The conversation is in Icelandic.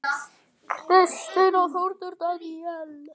Kristín og Þórður Daníel.